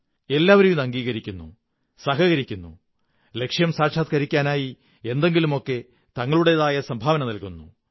എല്ലാവരും ഇത് അംഗീകരിക്കുന്നു സഹകരിക്കുന്നു ലക്ഷ്യം സാക്ഷാത്കരിക്കാനായി എന്തെങ്കിലുമൊക്കെ തങ്ങളുടേതായ സംഭാവന നല്കുകന്നു